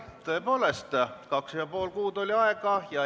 Tõepoolest, kaks ja pool kuud oli aega.